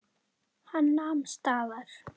Hann nam staðar.